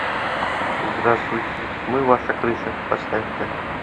здравствуйте мы ваша крыша поставь ка